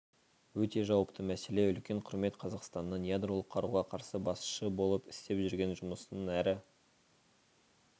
өте жауапты мәселе үлкен құрмет қазақстанның ядролық қаруға қарсы басшы болып істеп жүрген жұмысын әрі